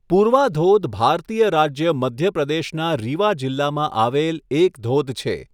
પૂર્વા ધોધ ભારતીય રાજ્ય મધ્ય પ્રદેશના રીવા જિલ્લામાં આવેલ એક ધોધ છે.